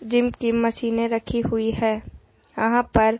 gym की मशीने रखी हुई है अहां पर--